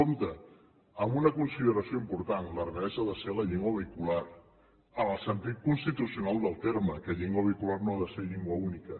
compte amb una consideració important l’aranès ha de ser la llengua vehicular en el sentit constitucional del terme que llengua vehicular no ha de ser llengua única